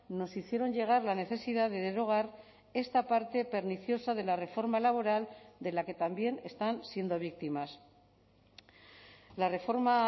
nos hicieron llegar la necesidad de derogar esta parte perniciosa de la reforma laboral de la que también están siendo víctimas la reforma